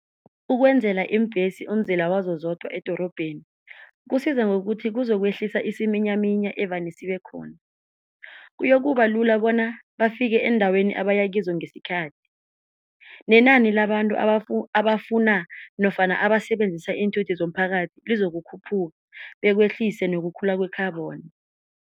Ukwenzela iimbhesi umzila wazo zodwa edorobheni, kusiza ngokuthi kuzokwehlisa isiminyaminya evane sibekhona. Kuyoba kuba lula bona bafike endaweni abayakizo ngesikhathi, nenani labantu abafuna nofana abasebenzisa iinthuthi zomphakathi lizokukhuphuka bekwehlise nokukhula kwe-carbon.